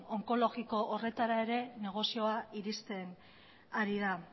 onkologiko horretara ere negozioa iristen ari dela